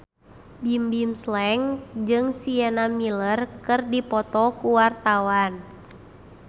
Bimbim Slank jeung Sienna Miller keur dipoto ku wartawan